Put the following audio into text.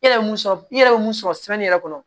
E yɛrɛ ye mun sɔrɔ i yɛrɛ bɛ mun sɔrɔ yɛrɛ kɔnɔ